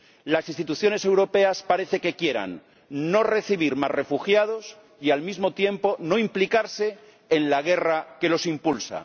Las instituciones europeas parece que quieran no recibir más refugiados y, al mismo tiempo, no implicarse en la guerra que los impulsa.